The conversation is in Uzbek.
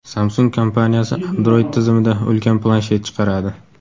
Samsung kompaniyasi Android tizimida ulkan planshet chiqaradi.